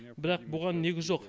бірақ бұған негіз жоқ